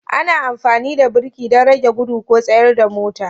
Ana amfani da birki don rage gudu ko tsayar da mota